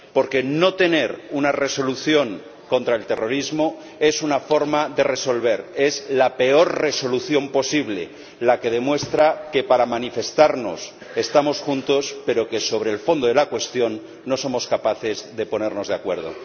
Porque no tener una resolución contra el terrorismo es una forma de resolver, es la peor resolución posible, la que demuestra que para manifestarnos estamos juntos, pero que sobre el fondo de la cuestión no somos capaces de ponernos de acuerdo.